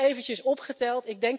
Ik heb het eventjes opgeteld.